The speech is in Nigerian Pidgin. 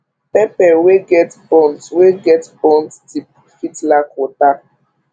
pepper wey get burnt wey get burnt tip fit lack water